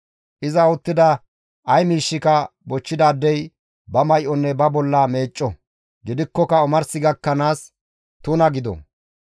iza uttida ay miishshika bochchidaadey ba may7onne ba bolla meecco; gidikkoka omars gakkanaas tuna gido.